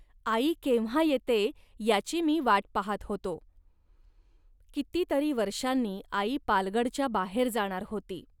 आई केव्हा येते, याची मी वाट पाहात होतो. किती तरी वर्षांनी आई पालगडच्या बाहेर जाणार होती